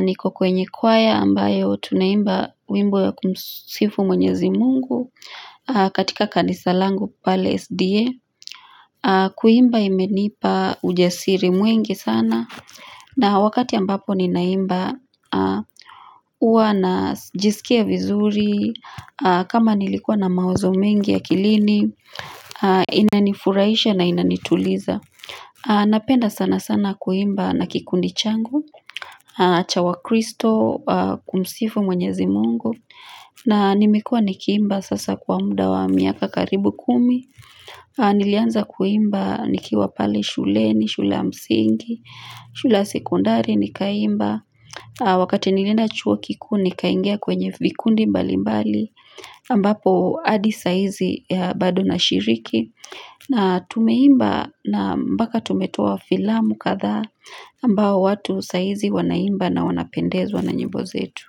niko kwenye kwaya ambayo tunaimba wimbo ya kumsifu mwenyezi mungu katika kanisalangu pale SDA. Kuimba imenipa ujasiri mwingi sana na wakati ambapo ninaimba uwa na jisikia vizuri kama nilikuwa na mawazo mengi akilini. Inanifuraisha na inanituliza Napenda sana sana kuimba na kikundi changu cha wa Kristo kumsifu mwenyezi mungu na nimekuwa nikiimba sasa kwa muda wa miaka karibu kumi Nilianza kuimba nikiwa pale shule ni shule ya msingi shule ya sekondari nikaimba Wakati nilienda chuo kikuu nikaingia kwenye vikundi mbali mbali ambapo adi saizi bado na shiriki na tumeimba na mbaka tumetoa filamu kadhaa ambao watu saizi wanaimba na wanapendezwa na nyimbo zetu.